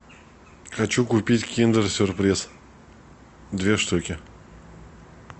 хочу купить киндер сюрприз две штуки